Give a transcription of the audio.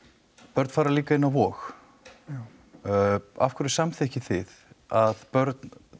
börn fara líka inn á Vog já af hverju samþykkið þið að börn